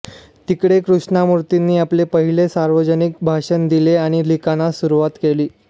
तिकडे कृष्णमूर्तींनी आपले पहिले सार्वजनिक भाषण दिले आणि लिखाणास सुरुवात केली